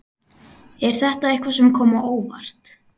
Er þetta eitthvað sem kom á óvart?